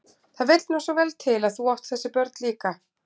Það vill nú svo vel til að þú átt þessi börn líka.